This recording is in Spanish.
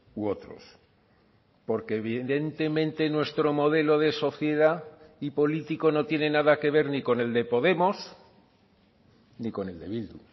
u otros porque evidentemente nuestro modelo de sociedad y político no tiene nada que ver ni con el de podemos ni con el de bildu